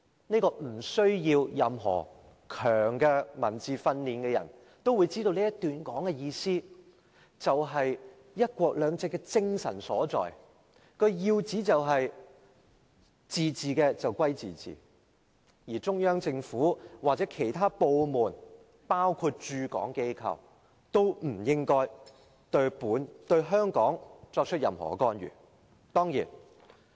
"即使沒有較強文字功底的人也知道這段話的意思，這是"一國兩制"的精神所在，要旨就是自治歸自治，而中央政府或其任何部門，包括駐港機構，均不應對香港作出任何干預。